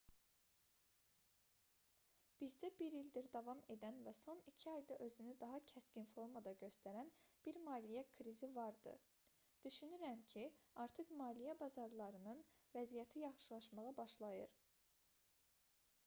bizdə bir ildir davam edən və son iki ayda özünü daha kəskin formada göstərən bir maliyyə krizi vardı düşünürəm ki artıq maliyyə bazarlarının vəziyyəti yaxşılaşmağa başlayır